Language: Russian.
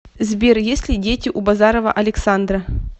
сбер есть ли дети у базарова александра